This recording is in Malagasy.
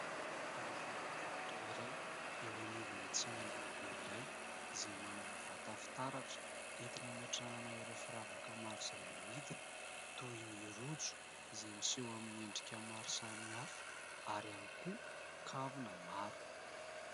Vehivavy mpivarotra iray, eo anivona tsena lehibe iray, izay manana vata fitaratra, entina hametrahana ireo firavaka maro izay amidiny, toy ny rojo izay miseho amin'ny endrika maro samihafa, ary ihany koa kavina maro.